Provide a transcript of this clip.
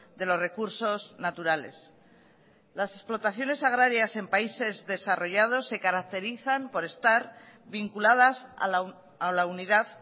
de los recursos naturales las explotaciones agrarias en países desarrollados se caracterizan por estar vinculadas a la unidad